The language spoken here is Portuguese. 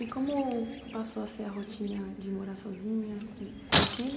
E como passou a ser a rotina de morar sozinha com com o filho?